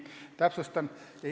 Täpsustan.